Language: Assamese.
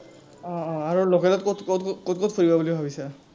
আহ আহ আৰু local ত কত কত ফুৰিবা বুলি ভাবিছা?